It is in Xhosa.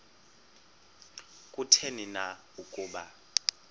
kutheni na ukuba